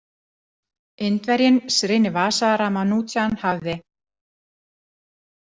Indverjinn Srinivasa Ramanujan hafði.